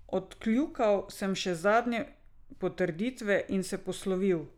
Odkljukal sem še zadnje potrditve in se poslovil.